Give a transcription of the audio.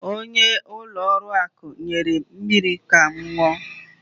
Onye ulo oru akụ nyerem mmiri Kam nnu